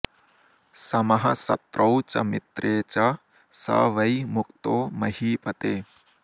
समः शत्रौ च मित्रे च स वै मुक्तो महीपते